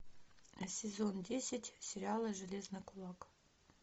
сезон десять сериала железный кулак